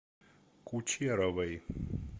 кучеровой